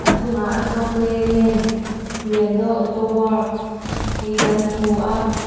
achungah ashok leyland liando auto works tih kan hmuh a.